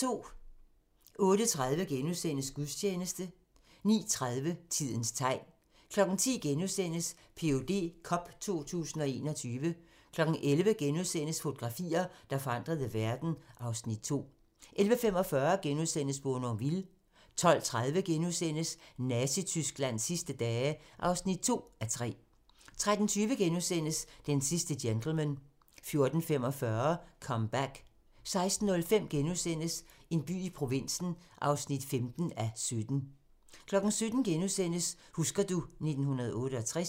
08:30: Gudstjeneste * 09:30: Tidens tegn 10:00: PhD cup 2021 * 11:00: Fotografier, der forandrede verden (Afs. 2)* 11:45: Bournonville * 12:30: Nazi-Tysklands sidste dage (2:3)* 13:20: Den sidste gentleman * 14:45: Comeback 16:05: En by i provinsen (15:17)* 17:00: Husker du ... 1968 *